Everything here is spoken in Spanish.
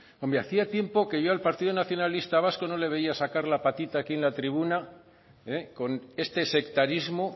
hombre hacía tiempo que yo al partido nacionalista vasco no le veía sacar la patita aquí en la tribuna con este sectarismo